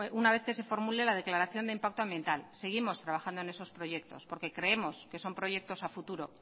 una vez que se formule la declaración de impacto ambiental seguimos trabajando en esos proyectos porque creemos que son proyectos a futuro